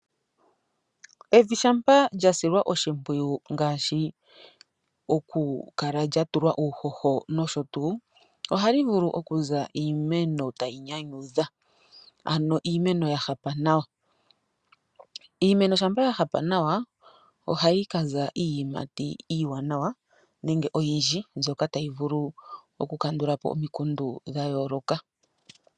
Evi shampa lyasilwa oshipwiyu ngashi lya tulwa uuhoho noshotu ohali vulu okuza iimeno tayi nyanyudha ano iimeno ya hapa nawa. Iimeno shampa ya hapa nawa ohayi kaza iiyimati iiwanawa nenge oyindji mbyoka tayi vulu oku kandulapo omikundu dhayoloka.